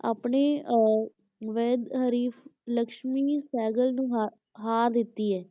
ਆਪਣੇ ਅਹ ਵਾਹਿਦ ਹਰੀਫ਼ ਲਕਸ਼ਮੀ ਸਹਿਗਲ ਨੂੰ ਹਾ~ ਹਾਰ ਦਿੱਤੀ ਹੈ।